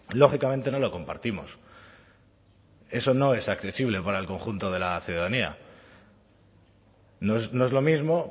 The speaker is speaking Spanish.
lógicamente no lo compartimos eso no es accesible para el conjunto de la ciudadanía no es lo mismo